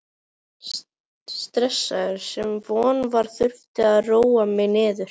stressaður, sem von var, þurfti að róa mig niður.